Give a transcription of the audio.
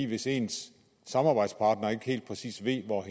hvis ens samarbejdspartner ikke helt præcis ved hvor